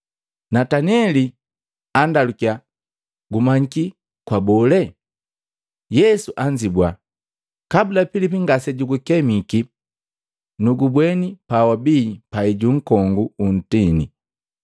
Nataneli andalukiya, “Gumanyiki kwa bolee?” Yesu anzibua, “Kabula Pilipi ngasejugu kemiki, nugubweni pawabii pai ju nkongu wu ntini.”